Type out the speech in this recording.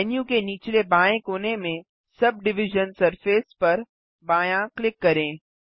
menu के निचले बाएँ कोने में सबडिविजन सरफेस पर बायाँ क्लिक करें